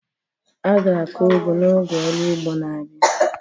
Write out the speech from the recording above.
A ga-akụ ugu n'oge ọrụ ugbo na-abia.